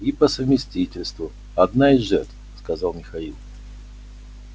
и по совместительству одна из жертв сказал михаил